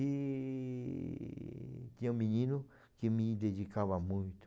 E tinha um menino que me dedicava muito.